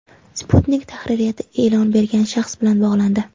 Sputnik tahririyati e’lon bergan shaxs bilan bog‘landi.